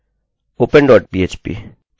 ओह नहीं! यह नहीं open dot php